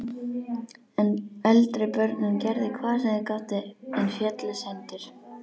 Eldri börnin gerðu hvað þau gátu, en féllust hendur.